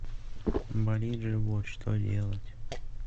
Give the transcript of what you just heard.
болит живот что делать